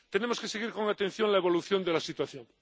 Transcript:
Tenemos que seguir con atención la evolución de la situación.